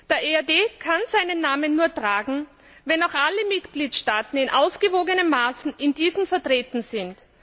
Der EAD kann seinen Namen nur tragen, wenn auch alle Mitgliedstaaten in ausgewogenem Maße darin vertreten sind.